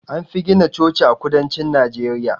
Anfi gina Chochi a kudancin Najeriya